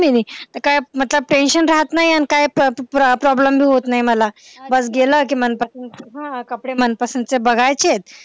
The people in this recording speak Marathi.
मिनी काय tension राहत नाही आणि काय problem be होत नाही मला बस गेलं कि मनपसंत कपडे मनपसंत चे बघायचेत